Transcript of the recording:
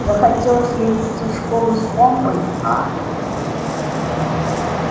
захотелось явиться в школу с помпой а